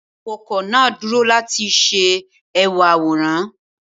Awakọ naa duro lati ṣe ẹwà aworan.